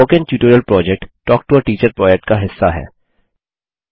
spoken tutorial project talk to a teacher project का हिस्सा है